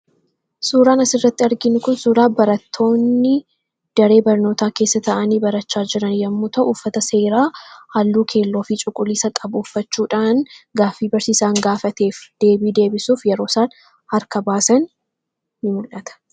Suuraanas irratti argiin kun suuraa barattoonni daree barnootaa keessa ta'anii barachaa jiran yommuta uuffata seeraa halluu keelloofii cuqulisa qabu uffachuudhaan gaafii barsiisaan gaafateef deebii deebisuuf yeroo saan harka baasan in mul'ata.